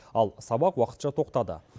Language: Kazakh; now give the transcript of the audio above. ал сабақ уақытша тоқтады